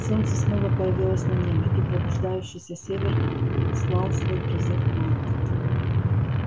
солнце снова появилось на небе и пробуждающийся север слал свой призыв волку